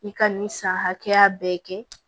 I ka nin san hakɛya bɛɛ kɛ